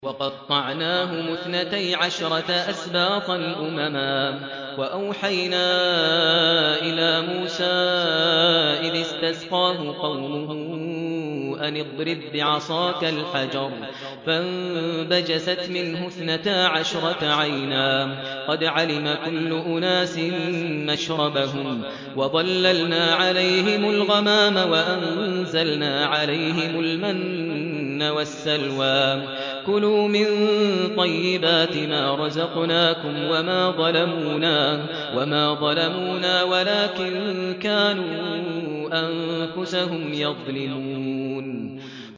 وَقَطَّعْنَاهُمُ اثْنَتَيْ عَشْرَةَ أَسْبَاطًا أُمَمًا ۚ وَأَوْحَيْنَا إِلَىٰ مُوسَىٰ إِذِ اسْتَسْقَاهُ قَوْمُهُ أَنِ اضْرِب بِّعَصَاكَ الْحَجَرَ ۖ فَانبَجَسَتْ مِنْهُ اثْنَتَا عَشْرَةَ عَيْنًا ۖ قَدْ عَلِمَ كُلُّ أُنَاسٍ مَّشْرَبَهُمْ ۚ وَظَلَّلْنَا عَلَيْهِمُ الْغَمَامَ وَأَنزَلْنَا عَلَيْهِمُ الْمَنَّ وَالسَّلْوَىٰ ۖ كُلُوا مِن طَيِّبَاتِ مَا رَزَقْنَاكُمْ ۚ وَمَا ظَلَمُونَا وَلَٰكِن كَانُوا أَنفُسَهُمْ يَظْلِمُونَ